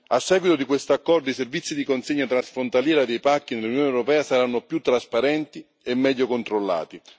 A seguito di questo accordo, i servizi di consegna transfrontaliera dei pacchi nell'Unione europea saranno più trasparenti e meglio controllati.